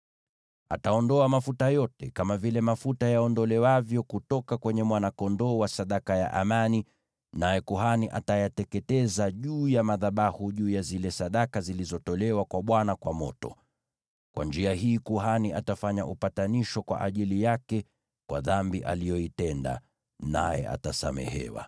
Ataondoa mafuta yote, kama vile mafuta yaondolewavyo kutoka kwenye mwana-kondoo wa sadaka ya amani, naye kuhani atayateketeza juu ya madhabahu juu ya zile sadaka zilizotolewa kwa Bwana kwa moto. Kwa njia hii kuhani atafanya upatanisho kwa ajili yake kwa dhambi aliyoitenda, naye atasamehewa.